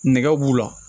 Nɛgɛ b'u la